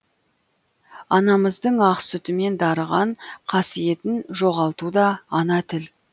анамыздың ақ сүтімен дарыған қасиетін жоғалтуда ана тіл